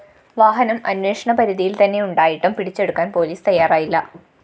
വാഹനം അന്വേഷണ പരിധിയില്‍ തന്നെയുണ്ടായിട്ടും പിടിച്ചെടുക്കാന്‍ പൊലീസ് തയ്യാറായില്ല